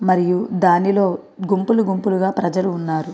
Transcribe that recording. మరియు దానిలో గుంపులు గుంపుల గ ప్రజలున్నారు.